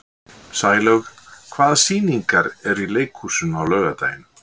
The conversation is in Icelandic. Sælaug, hvaða sýningar eru í leikhúsinu á laugardaginn?